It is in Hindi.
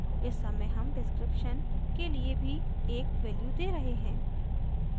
इस समय हम description के लिए भी एक वैल्यू दे रहे हैं